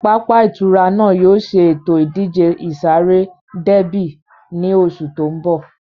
Pápá ìtura náà yóò ṣe ètò ìdíje ìsáré déébì ní oṣù tó ń bọ̀